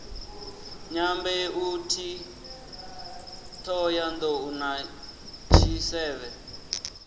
dyambeu t hohoyandou na tshisevhe